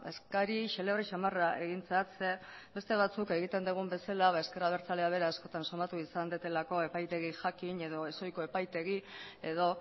eskari xelebre samarra egin zait zeren beste batzuk egiten dugun bezala ezker abertzaleak bera askotan somatu izan dudalako epaitegi jakin edo ez ohiko epaitegi edo